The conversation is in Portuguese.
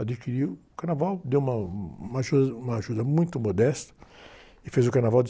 Adquiriu o Carnaval, deu uma, uma ajuda, uma ajuda muito modesta e fez o Carnaval de